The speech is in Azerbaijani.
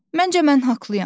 Məncə mən haqlıyam.